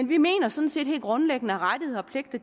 vi mener sådan set helt grundlæggende at rettigheder og pligter